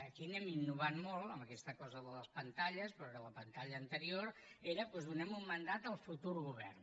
aquí anem innovant molt amb aquesta cosa de les pantalles però que a la pantalla anterior era doncs donem un mandat al futur govern